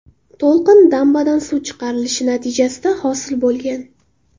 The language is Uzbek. To‘lqin dambadan suv chiqarilishi natijasida hosil bo‘lgan.